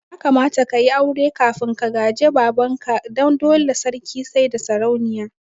Ya kamata ka yi aure kafin ka gaji baban ka, dan dole sarki saida sarauniya